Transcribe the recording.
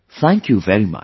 Thank you very much